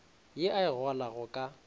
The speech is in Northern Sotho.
ye a e golago ka